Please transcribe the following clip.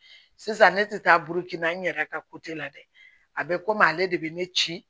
Sisan ne tɛ taa burukina n yɛrɛ ka la dɛ a bɛ komi ale de bɛ ne ci